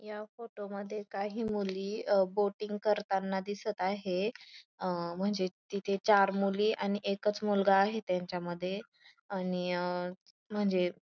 या फोटो मध्ये काही मुली बोटिंग करताना दिसत आहे अ म्हणजे तिथ चार मुली आणि एकाच मुलगा आहे त्यांच्यामध्ये आणि म्हणजे--